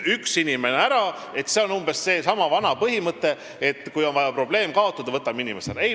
Üks inimene ära – see on umbes seesama vana põhimõte, et kui on vaja kaotada probleem, siis võtame inimese ära.